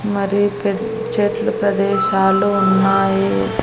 మరి పెద్ చెట్లు ప్రదేశాలు ఉన్నాయి.